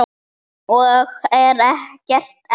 Og er gert enn.